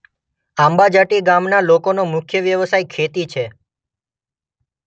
આંબાજાટી ગામના લોકોનો મુખ્ય વ્યવસાય ખેતી છે.